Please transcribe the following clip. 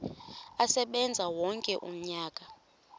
asebenze wonke umnyaka